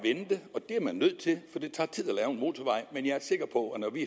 det er man nødt til for det tager tid at lave en motorvej men jeg er sikker på at når vi